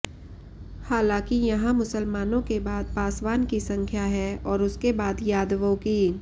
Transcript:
हालांकि यहां मुसलमानों के बाद पासवान की संख्या है और उसके बाद यादवों की